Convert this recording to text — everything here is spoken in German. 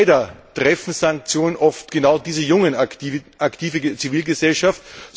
Leider treffen Sanktionen oft genau diese junge aktive Zivilgesellschaft.